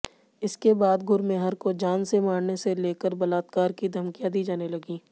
इसके बाद गुरमेहर को जान से मारने से लेकर बलात्कार की धमकियां दी जाने लगीं